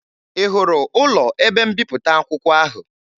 Ị hụrụ ụlọ ebe mbipụta akwụkwọ ahụ?